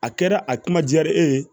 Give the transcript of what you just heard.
A kɛra a kuma diyara e ye